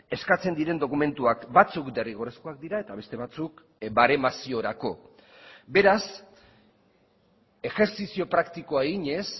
eskatzen diren dokumentuak batzuk derrigorrezkoak dira eta beste batzuk baremaziorako beraz ejertzizio praktikoa eginez